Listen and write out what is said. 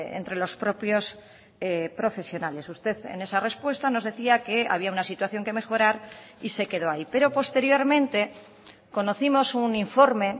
entre los propios profesionales usted en esa respuesta nos decía que había una situación que mejorar y se quedó ahí pero posteriormente conocimos un informe